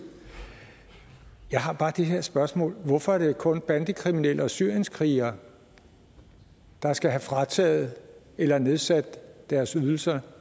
jeg har bare det her spørgsmål hvorfor er det kun bandekriminelle og syrienskrigere der skal have frataget eller nedsat deres ydelser